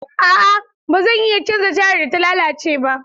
A'a ba zan iya canza tayar da ta lalace ba.